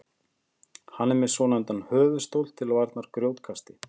hann er með svonefndan höfuðstól til varnar grjótkasti